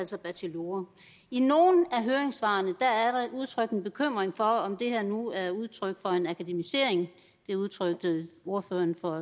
sig bachelorer i nogle af høringssvarene er der udtrykt en bekymring for om det her nu er udtryk for en akademisering det udtrykte ordføreren for